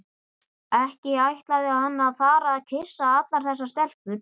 Ekki ætlaði hann að fara að kyssa allar þessar stelpur.